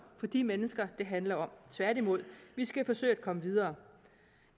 for de mennesker det handler om tværtimod vi skal forsøge at komme videre